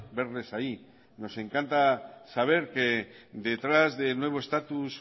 verles ahí nos encanta saber que detrás del nuevo estatus